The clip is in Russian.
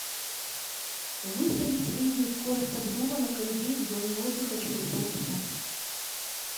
выставить среднюю скорость обдува на кондее в зоне отдыха через полчаса